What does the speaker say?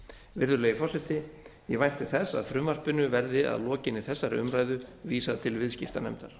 virðulegi forseti ég vænti þess að frumvarpinu verði að lokinni þessari umræðu vísað til viðskiptanefndar